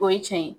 O ye cɛn ye